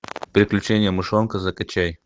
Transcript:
приключения мышонка закачай